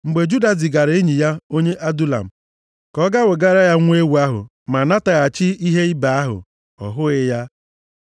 Mgbe Juda zigara enyi ya onye Adulam ka ọ gaa wegara ya nwa ewu ahụ, ma nataghachi ihe ibe ahụ, ọ hụghị ya.